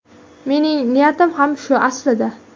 Mening niyatim ham shu aslida.